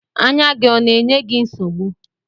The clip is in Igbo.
Anya gị ọ na-enye gị nsogbu?